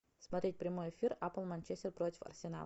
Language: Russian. смотреть прямой эфир апл манчестер против арсенал